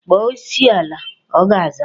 Kpọọ Olisa ọ ga-aza.